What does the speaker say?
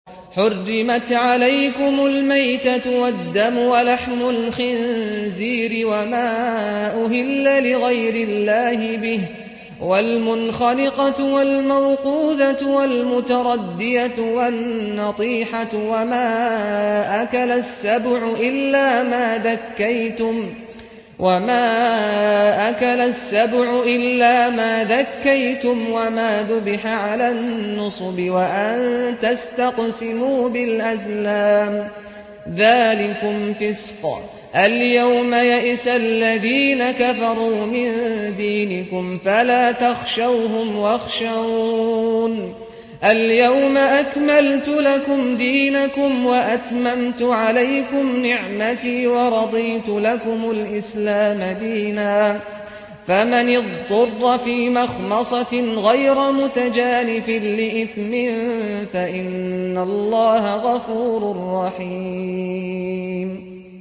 حُرِّمَتْ عَلَيْكُمُ الْمَيْتَةُ وَالدَّمُ وَلَحْمُ الْخِنزِيرِ وَمَا أُهِلَّ لِغَيْرِ اللَّهِ بِهِ وَالْمُنْخَنِقَةُ وَالْمَوْقُوذَةُ وَالْمُتَرَدِّيَةُ وَالنَّطِيحَةُ وَمَا أَكَلَ السَّبُعُ إِلَّا مَا ذَكَّيْتُمْ وَمَا ذُبِحَ عَلَى النُّصُبِ وَأَن تَسْتَقْسِمُوا بِالْأَزْلَامِ ۚ ذَٰلِكُمْ فِسْقٌ ۗ الْيَوْمَ يَئِسَ الَّذِينَ كَفَرُوا مِن دِينِكُمْ فَلَا تَخْشَوْهُمْ وَاخْشَوْنِ ۚ الْيَوْمَ أَكْمَلْتُ لَكُمْ دِينَكُمْ وَأَتْمَمْتُ عَلَيْكُمْ نِعْمَتِي وَرَضِيتُ لَكُمُ الْإِسْلَامَ دِينًا ۚ فَمَنِ اضْطُرَّ فِي مَخْمَصَةٍ غَيْرَ مُتَجَانِفٍ لِّإِثْمٍ ۙ فَإِنَّ اللَّهَ غَفُورٌ رَّحِيمٌ